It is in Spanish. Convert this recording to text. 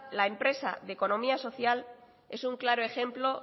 la empresa de economía social es un claro ejemplo